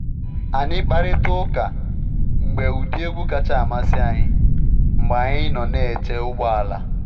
Anyị kparịtara uka maka ụdị egwu kacha amasị anyị mgbe anyị nọ n’eche ụgbọala.